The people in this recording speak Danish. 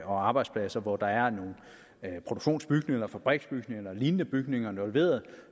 og arbejdspladser hvor der er nogle produktionsbygninger eller fabriksbygninger eller lignende bygninger involveret